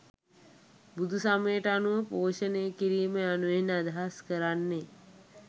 බුදුසමයට අනුව පෝෂණයකිරීම යනුවෙන් අදහස් කරන්නේ